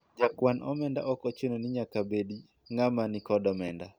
jakwan omenda ok ochuno ni nyaka bed ng'ama nikod omenda